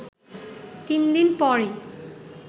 তিন দিন পরই